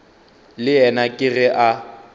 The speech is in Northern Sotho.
le yena ke ge a